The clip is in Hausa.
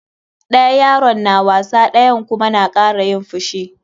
Ɗaya yaron na wasa ɗayan kuma na kara yin fushi.